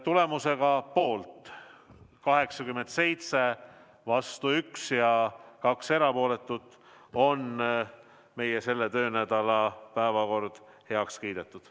Tulemusega poolt 87, vastu 1 ja 2 erapooletut on meie selle töönädala päevakord heaks kiidetud.